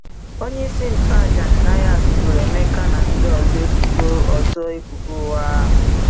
Onye ịsị ntụ aja Ananias boro Emeka na ndi ọzọ ebụbo ọzọ ebụbo ụya